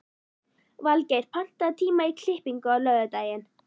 Valgeir, pantaðu tíma í klippingu á laugardaginn.